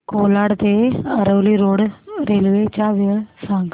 कोलाड ते Aravali road railway च्या वेळा सांग